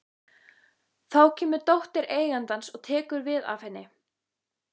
Þá kemur dóttir eigandans og tekur við af henni.